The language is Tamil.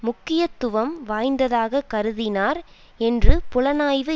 முக்கியத்துவம் வாய்ந்ததாக கருதினார் என்று புலனாய்வு